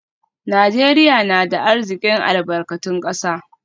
Najeriya na da arzikin albarkatun kasa